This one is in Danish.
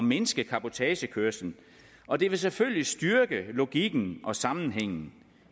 mindske cabotagekørslen og det vil selvfølgelig styrke logikken og sammenhængen